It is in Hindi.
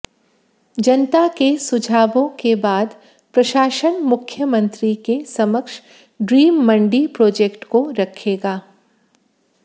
जनता के सुझावों के बाद प्रशासन मुख्यमंत्री के समक्ष ड्रीम मंडी प्रोजेक्ट को रखेगा